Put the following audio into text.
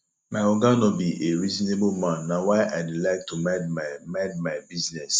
my oga no be a reasonable man na why i dey like to mind my mind my business